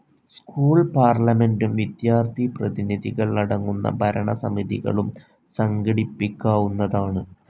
School പാർലമെന്റും വിദ്യാർഥിപ്രതിനിധികൾ അടങ്ങുന്ന ഭരണസമിതികളും സംഘടിപ്പിക്കാവുന്നതാണ്.